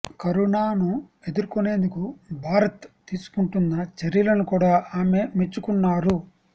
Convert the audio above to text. corona ను ఎదుర్కొనేందుకు భారత్ తీసుకుంటున్న చర్యలను కూడా ఆమె మెచ్చుకున్నారు